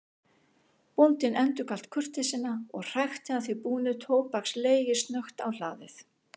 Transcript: Bóndinn endurgalt kurteisina og hrækti að því búnu tóbakslegi snöggt á hlaðið.